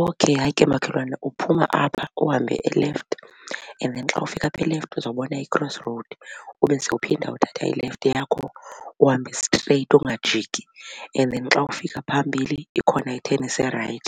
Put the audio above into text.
Okhey. Hayi ke makhelwane uphuma apha uhambe elefti and then xa ufika apha elefti uzawubona i-cross road ube sowuphinda uthatha ilefti yakho uhambe straight ungajiki and then xa ufika phambili ikhona i-turn ese-right.